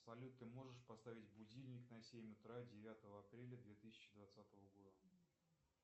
салют ты можешь поставить будильник на семь утра девятого апреля две тысячи двадцатого года